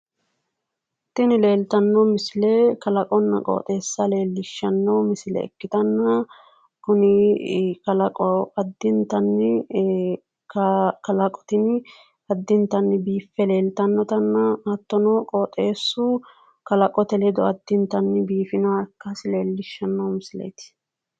Tini leelittano misile kalaqonna qoxxeessa ikkittanna kuni qoxxeesi biifinoha ikkasi leelishano misileti